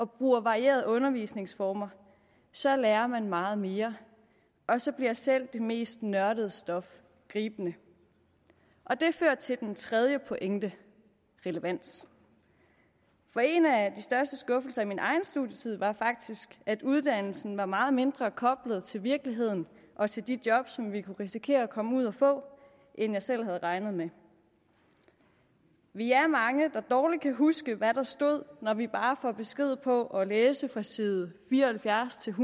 bruger varierede undervisningsformer så lærer man meget mere og så bliver selv det mest nørdede stof gribende det fører til den tredje pointe relevans for en af de største skuffelser i min egen studietid var faktisk at uddannelsen var meget mindre koblet til virkeligheden og til de jobs som vi kunne risikere at komme ud og få end jeg selv havde regnet med vi er mange der dårligt kan huske hvad der stod når vi bare får besked på at læse fra side fire og halvfjerds til